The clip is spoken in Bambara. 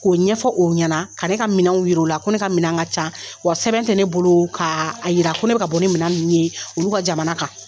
K'o ɲɛfɔ o ɲɛna, ka ne ka minɛnw yira o la. Ko ne ka minɛn ka ca wa sɛbɛn tɛ ne bolo k'a yira ko ne bɛ ka bɔ nin minɛ ninnu ye olu ka jamana kan.